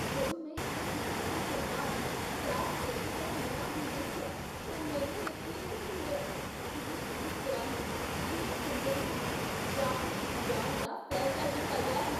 ਜਦੋਂ ਮੈਂ ਇਸ ਰੀਫਿਲ ਤੋਂ ਬਾਅਦ ਗੈਸ ਸਿਲੰਡਰ ਦਾ ਨਵਾਂ ਬਿੱਲ ਦੇਖਿਆ ਤਾਂ ਮੈਨੂੰ ਯਕੀਨ ਨਹੀਂ ਹੋਇਆ। ਇਹ ਇਸ ਤਰ੍ਹਾਂ ਹੈ ਜਿਵੇਂ ਚੰਦਰਮਾ 'ਤੇ ਰਾਕੇਟ ਲਿਜਾਣ ਦਾ ਫੈਸਲਾ ਕੀਤਾ ਗਿਆ ਹੈ!